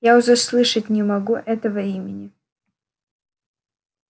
я уже слышать не могу этого имени